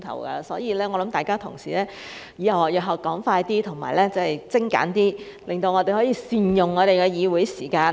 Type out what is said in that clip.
因此，我想請各位同事日後說快一點，精簡一點，讓我們可以善用議會時間。